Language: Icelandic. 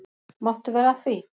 Máttu vera að því?